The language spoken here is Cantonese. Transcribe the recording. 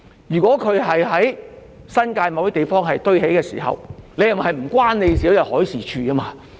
如果貨櫃在新界某些地方堆疊，是否與海事處無關？